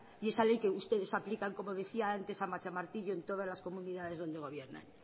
y esa ley que ustedes aplican como decía antes a machamartillo en todas las comunidades donde gobiernan